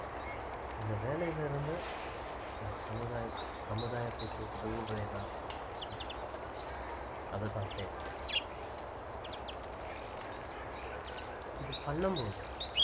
இந்த வேலையில இருந்து நான் சமுதாயக்கு சமுதாயத்துக்கு உதவுவேனா அதுதான் தேவை இது பண்ணும் போது